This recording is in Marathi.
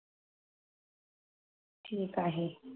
ठीक आहे